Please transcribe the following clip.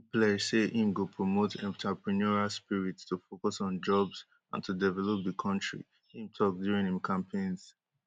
im pledge say im go promote entrepreneurial spirit to focus on jobs and to develop di kontri im tok during im campaigns